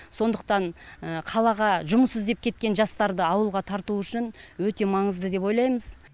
сондықтан қалаға жұмыс іздеп кеткен жастарды ауылға тарту үшін өте маңызды деп ойлаймыз